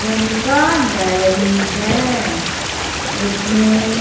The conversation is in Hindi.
जनता डायरी है इसमें--